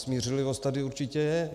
Smířlivost tady určitě je.